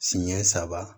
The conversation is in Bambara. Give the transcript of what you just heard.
Siɲɛ saba